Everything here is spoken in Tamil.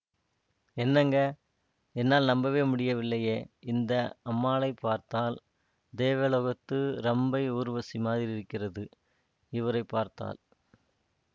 என்னங்க என்னால் நம்பவே முடியவில்லையே இந்த அம்மாளை பார்த்தாள் தேவலோகத்து ரம்பை ஊர்வசி மாதிரி இருக்கிறது இவரை பார்த்தால்